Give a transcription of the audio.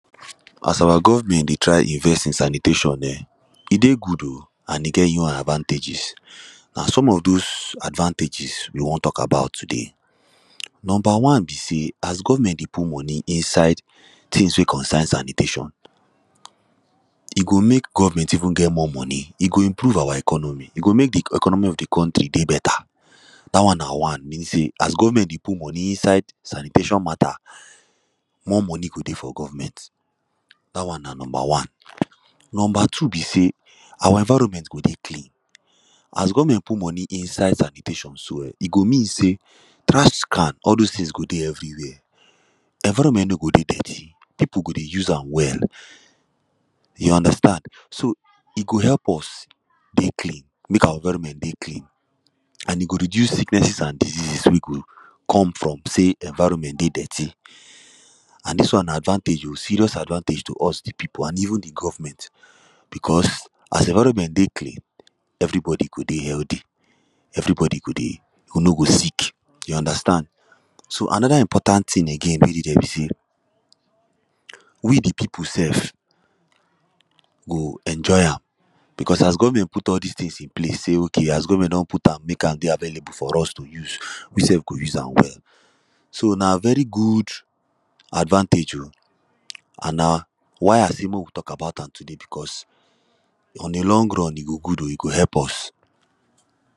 As our government dey try invest in sanitation eh, e dey good o and e get e own advantages. Na some of those advantages we wan talk about today. Number one be say as government dey put money inside things wey concern sanitation, e go mek government even get more money, e go improve our economy, e go mek the economy of the country dey better. Dat one na one, mean say as government dey put money inside sanitation mata more money go dey for government. Dat one na number one. Number two be say our environment go dey clean. As government put money inside sanitation so, eh, e go mean say trash can, all those things go dey everywhere Environment no go dey dirty, people go dey use am well. You understand so, e go help us dey clean, mek our environment dey clean. and e go reduce sicknesses and diseases wey go come from say environment dey dirty. and dis one na advantage o, serious advantage to us the people, and even the government. because as environment dey clean, everybody go dey healthy. Everbody go dey, you no go sick, you understand? So, another important thing again wey dey there be say, we the people sef go enjoy am, because as government put all these things in place say, okay, as government don put am, mek am dey available for us to use, we sef go use am well. So, na very good advantage o, and na why I say mek we talk about am today because on a long run, e go good o, e go help us.